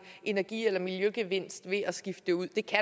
energi eller miljøgevinst ved at skifte det ud det kan